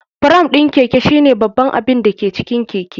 Fram ɗin Keke shine babban abin da ke cikin keke.